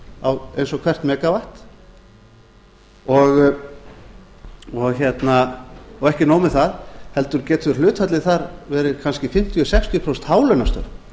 á eins og hvert megavatt og ekki nóg með það heldur getur hlutfallið þar verið kannski fimmtíu sextíu prósent hálaunastörf